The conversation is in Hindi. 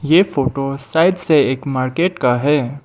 ये फोटो साइड से एक मार्केट का है।